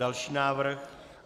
Další návrh.